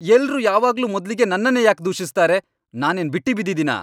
ಎಲ್ರೂ ಯಾವಾಗ್ಲೂ ಮೊದ್ಲಿಗೆ ನನ್ನನ್ನೇ ಯಾಕ್ ದೂಷಿಸ್ತಾರೆ? ನಾನೇನ್ ಬಿಟ್ಟಿ ಬಿದ್ದಿದೀನಾ!